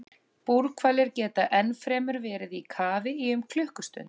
Búrhvalir geta ennfremur verið í kafi í um klukkustund.